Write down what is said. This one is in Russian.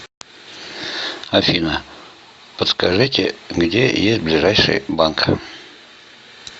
афина подскажите где есть ближайший банк